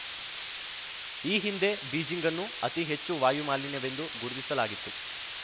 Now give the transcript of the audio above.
ಈ ಹಿಂದೆ ಬೀಜಿಂಗ್‌ನ್ನು ಅತಿ ಹೆಚ್ಚು ವಾಯು ಮಾಲಿನ್ಯವೆಂದು ಗುರುತಿಸಲಾಗಿತ್ತು